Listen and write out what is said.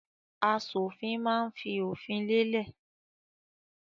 Aṣòfin máa ń fi òfin lélẹ̀.